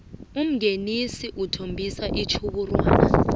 umngenisi uthombisa igjhubxwana